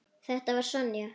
Þetta var Sonja.